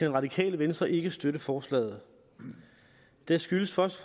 radikale venstre ikke støtte forslaget det skyldes først